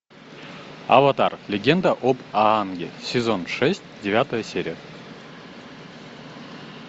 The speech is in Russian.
аватар легенда об аанге сезон шесть девятая серия